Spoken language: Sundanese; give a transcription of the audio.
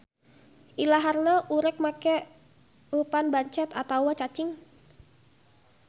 Ilaharna urek make eupan bancet atawa cacing.